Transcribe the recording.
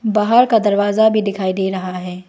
बाहर का दरवाजा भी दिखाई दे रहा है।